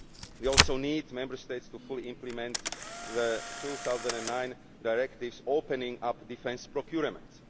We also need Member States to fully implement the 2009 directives opening up defence procurement.